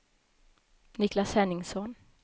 Niklas Henningsson